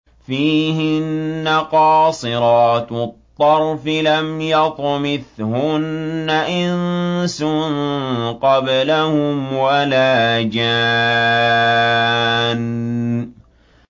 فِيهِنَّ قَاصِرَاتُ الطَّرْفِ لَمْ يَطْمِثْهُنَّ إِنسٌ قَبْلَهُمْ وَلَا جَانٌّ